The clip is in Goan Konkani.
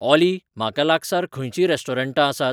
ऑली म्हाका लागसार खंयचीं रेस्टोरंटां आसात ?